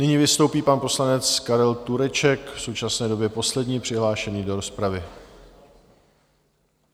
Nyní vystoupí pan poslanec Karel Tureček, v současné době poslední přihlášený do rozpravy.